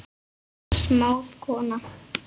Smáð kona